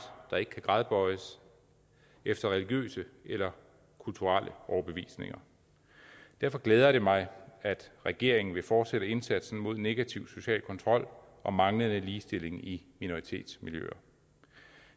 der ikke kan gradbøjes efter religiøse eller kulturelle overbevisninger derfor glæder det mig at regeringen vil fortsætte indsatsen mod negativ social kontrol og manglende ligestilling i minoritetsmiljøer